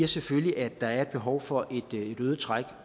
selvfølgelig at der er et behov for et øget træk